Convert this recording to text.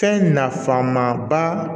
Fɛn nafama ba